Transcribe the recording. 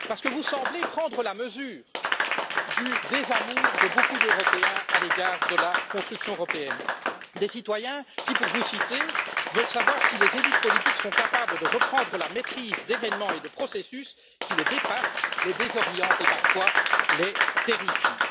Vous semblez prendre la mesure du désamour de nombreux Européens à l'égard de la construction européenne, des citoyens qui pour vous citer veulent savoir si les élites politiques sont capables de reprendre la maîtrise d'événements et de processus qui les dépassent, les désorientent et, parfois, les terrifient.